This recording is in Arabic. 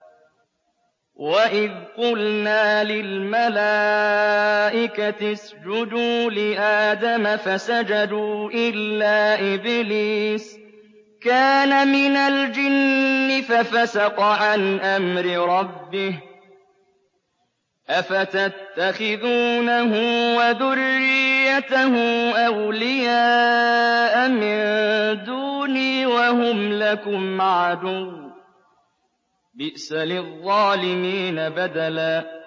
وَإِذْ قُلْنَا لِلْمَلَائِكَةِ اسْجُدُوا لِآدَمَ فَسَجَدُوا إِلَّا إِبْلِيسَ كَانَ مِنَ الْجِنِّ فَفَسَقَ عَنْ أَمْرِ رَبِّهِ ۗ أَفَتَتَّخِذُونَهُ وَذُرِّيَّتَهُ أَوْلِيَاءَ مِن دُونِي وَهُمْ لَكُمْ عَدُوٌّ ۚ بِئْسَ لِلظَّالِمِينَ بَدَلًا